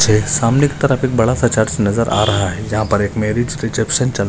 सामने के तरफ एक बड़ासा चर्च नज़र आ रहा है जहा पर मेरीज रिसिप्शन चल --